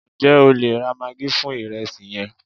njé o le ra maggi fún iresi yen